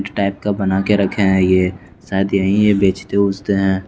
Type का बना के रखे हैं ये शायद यही ये बेचते हैं।